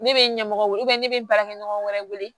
Ne bɛ ɲɛmɔgɔw wele ne bɛ baarakɛɲɔgɔn wɛrɛ wele